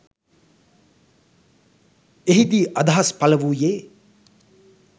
එහිදී අදහස් පලවූයේ